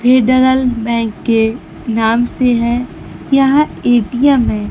Bank के नाम से है। यहां ए_टी_एम है।